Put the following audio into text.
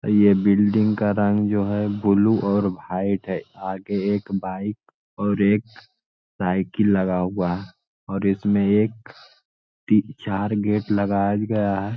ये बिल्डिंग का रंग जो है ब्लू और भाईट है । आगे एक बाइक और एक साइकिल लगा हुआ और इसमें एक ती चार गेट लगाया गया है।